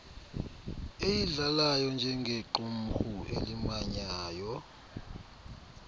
eyidlalayo njengequmrhu elimanyayo